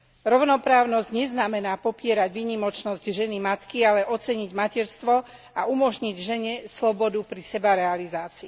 Rovnoprávnosť neznamená popierať výnimočnosť ženy matky, ale oceniť materstvo a umožniť žene slobodu pri sebarealizácii.